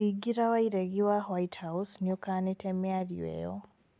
Thingira wa iregi wa White House nĩukanĩte mĩario ĩyo